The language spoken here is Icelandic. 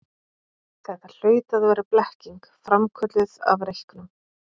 Þetta hlaut að vera blekking, framkölluð af reyknum.